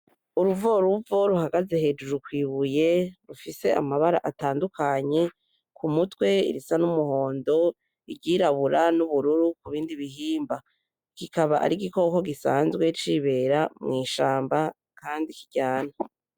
Uruvoruvo ruhagaze hejuru kwibuye rufise amabara atandukanye, k'umutwe risa n'umuhondo, iryirabura n'ubururu kubindi bihimba. Kikaba ari igikoko gisanzwe cibera mwishamba kandi kiryana.